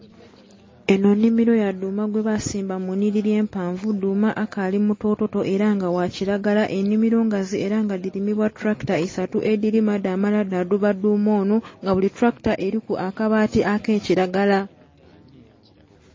Enho nhimiro ya dhuma gwe basimba mu nhiliri empanvu. Dhuma akaali mutototo era nga wa kiragala. Enhimiro ngazi era nga dhilimibwa tulakita isatu, edhilima dha mala dhaduba dhuma onho. Nga buli tractor eliku akabaati ak'ekiragala.